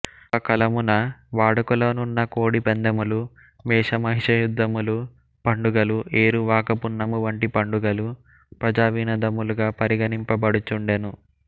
ఆకలమున వాడుకలో నున్న కోడి పందెములు మేషమహిషయుద్ధములు పండుగలు ఏరువాకపున్నమువంటి పండుగలు ప్రజావినోదముల్గా పరిగణింపబడుచుండెను